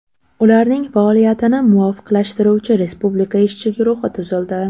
Ularning faoliyatini muvofiqlashtiruvchi Respublika ishchi guruhi tuzildi.